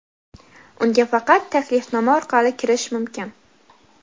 unga faqat taklifnoma orqali kirish mumkin.